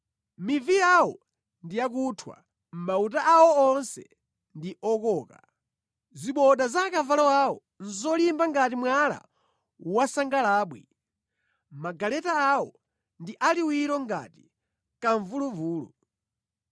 Mivi yawo ndi yakuthwa, mauta awo onse ndi okoka, ziboda za akavalo awo nʼzolimba ngati mwala wansagalabwi, magaleta awo ndi aliwiro ngati kamvuluvulu.